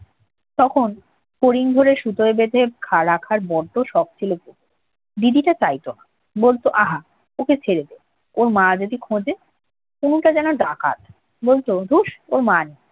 তখন ফড়িং ধরে সুতোয় বেঁধে খা~ রাখার জন্য শখ ছিল তনুর। দিদিটা চাইত না। বলতো আহা! ওকে ছেড়ে দে না। ওর মা যদি খোঁজে? তনুটা যেন ডাকাত। বলত ধ্যুস, ওর মা নেই।